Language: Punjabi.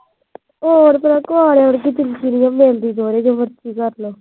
ਹੋਰ ਫਿਰ ਘੋੜੇ ਵਰਗੀ ਤੁਰੀ ਫਿਰੀ ਜਾਂਦੀ ਹੁੰਦੀ ਸੀ